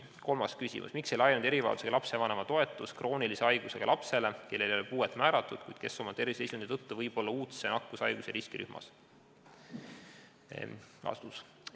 Kolmas küsimus: "Miks ei laienenud erivajadusega lapse vanema toetus kroonilise haigusega lapsele, kellele ei ole puuet määratud, kuid kes oma terviseseisundi tõttu võib olla uudse nakkushaiguse riskirühmas?